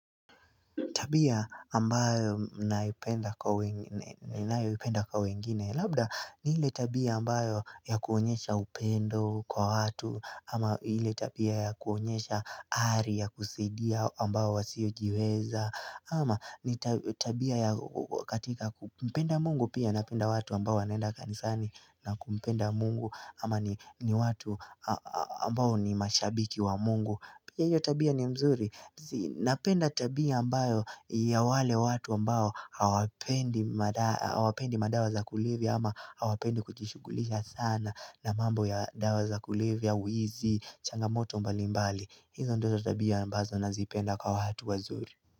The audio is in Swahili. Tabia ambayo naipenda kwa wengine. Labda ni ile tabia ambayo ya kuonyesha upendo kwa watu. Ama hile tabia ya kuonyesha ari ya kusaidia ambao wasiojiweza. Ama ni tabia ya katika kumpenda mungu pia napenda watu ambao wanaaenda kanisani na kumpenda mungu. Ama ni watu ambayo ni mashabiki wa mungu. Pia hiyo tabia ni mzuri, napenda tabia ambayo ya wale watu ambayo hawapendi madawa za kulevya ama hawapendi kujiishugulisha sana na mambo ya dawa za kulevya wizi changamoto mbali mbali hizo ndoto tabia ambazo nazipenda kwa watu wazuri.